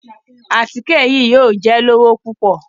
Àtike yìí yóò jẹ lówo pupọ